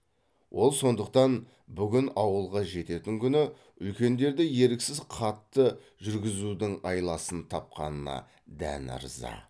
ол сондықтан бүгін ауылға жететін күні үлкендерді еріксіз қатты жүргізудің айласын тапқанына дән ырза